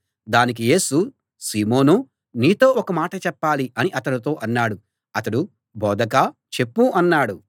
దానికి యేసు సీమోనూ నీతో ఒక మాట చెప్పాలి అని అతనితో అన్నాడు అతడు బోధకా చెప్పు అన్నాడు